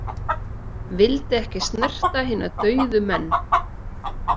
Vildi ekki snerta hina dauðu menn.